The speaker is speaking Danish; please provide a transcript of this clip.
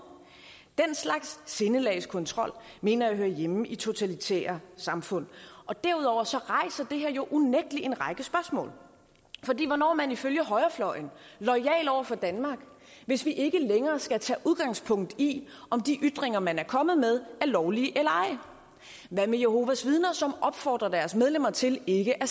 den slags sindelagskontrol mener jeg hører hjemme i totalitære samfund derudover rejser det her jo unægteligt en række spørgsmål fordi hvornår er man ifølge højrefløjen loyal over for danmark hvis vi ikke længere skal tage udgangspunkt i om de ytringer man er kommet med er lovlige eller ej hvad med jehovas vidner som opfordrer deres medlemmer til ikke at